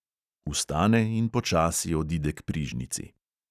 Vstane in počasi odide k prižnici.